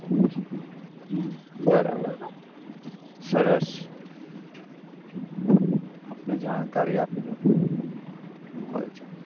તમને હમ બરાબર સરસ આપને જાણકારી આપી દઉં